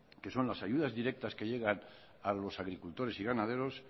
que son las ayudas directas que llegan a los agricultores y ganaderos